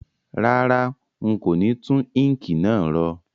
Rárá, n kò ni tun ink náà ro